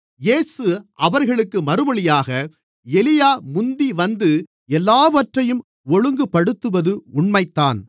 இயேசு அவர்களுக்கு மறுமொழியாக எலியா முந்திவந்து எல்லாவற்றையும் ஒழுங்குபடுத்துவது உண்மைதான்